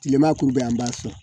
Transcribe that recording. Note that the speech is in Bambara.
Kilema kuru bɛ an b'a sɔn